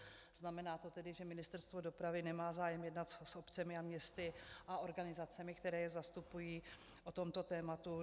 Znamená to tedy, že Ministerstvo dopravy nemá zájem jednat s obcemi a městy a organizacemi, které je zastupují, o tomto tématu?